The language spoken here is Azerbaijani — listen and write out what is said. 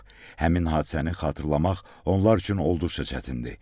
Həmin hadisəni xatırlamaq onlar üçün olduqca çətindir.